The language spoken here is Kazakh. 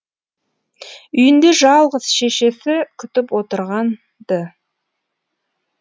үйінде жалғыз шешесі күтіп отырған ды